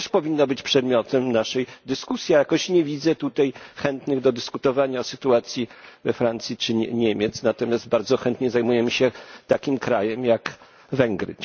To też powinno być przedmiotem naszej dyskusji, ale jakoś nie widzę tutaj chętnych do dyskutowania o sytuacji we Francji czy w Niemczech. Natomiast bardzo chętnie zajmujemy się takim państwem jak Węgry.